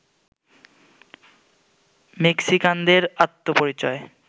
মেক্সিকানদের আত্মপরিচয়